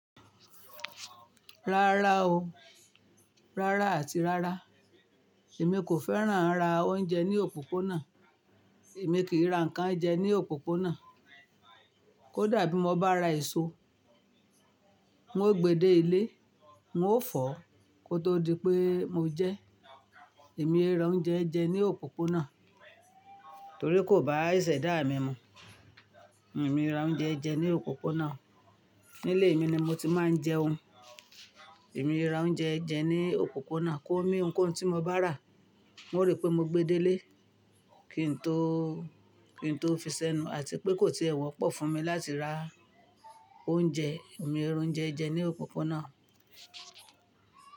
Rárá o, rárá àti rárá. Èmi kò fẹ́ràn à ra oúnjẹ ní òpópónà. Èmi kì í n ra nnkan jẹ ní òpópónà. Kó dà bí mo bá ra èso, nwó gbe dé ilé, nwó fọ̀, kó tó di pé mo jẹ ẹ́. Èmi ò ra oúnjẹ jẹ ní òpópónà torí kò bá ìṣẹ̀dá mi mu. Èmi ò ra oúnjẹ jẹ ní òpópónà. Nílé mi ni mo ti máa ń jẹun. Èmi ò ra oúnjẹ jẹ ní òpópónà kó mi ohunkóhun tí mo bá rà, n ó rí pé mo gbe dé ilé kí n tó, kí n tó fi sẹ́nu àti pé kò tie wọ̀ pọ̀ fún mi láti ra oúnjẹ. Èmi ò ra oúnjẹ jẹ ní òpópónà.